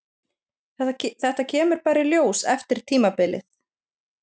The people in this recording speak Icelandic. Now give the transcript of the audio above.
Þetta kemur bara í ljós eftir tímabilið?